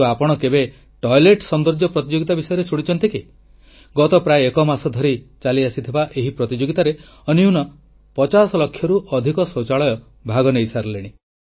କିନ୍ତୁ ଆପଣ କେବେ ସୁନ୍ଦର ଶୌଚାଳୟ ପ୍ରତିଯୋଗିତା ବିଷୟରେ ଶୁଣିଛନ୍ତି କି ଗତ ପ୍ରାୟ ଏକ ମାସ ଧରି ଚାଲି ଆସିଥିବା ଏହି ପ୍ରତିଯୋଗୀତାରେ ଅତି କମରେ 50 ଲକ୍ଷରୁ ଅଧିକ ଶୌଚାଳୟ ଭାଗ ନେଇ ସାରିଲେଣି